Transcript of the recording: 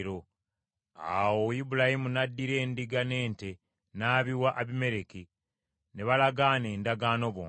Awo Ibulayimu n’addira endiga n’ente n’abiwa Abimereki, ne balagaana endagaano bombi.